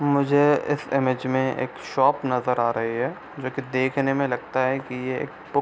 मुझे इस इमेज में एक शॉप नजर आ रही है जो की देखने में लगता है एक बुक --